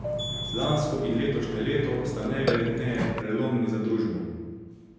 Lansko in letošnje leto sta najverjetneje prelomni za družbo?